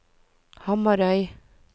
Hamarøy